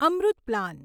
Amrit plan